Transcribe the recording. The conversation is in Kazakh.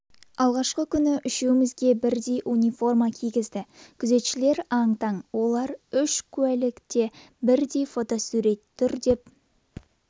алғашқы күні үшеумізге бірдей униформа кигізді күзетшілер аң-таң олар үш куәлікте бірдей фотосурет тұр деп